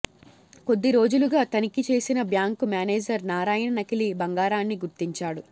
కొద్ది రోజులుగా తనిఖీ చేసిన బ్యాంకు మేనేజర్ నారాయణ నకిలీ బంగారాన్ని గుర్తించాడు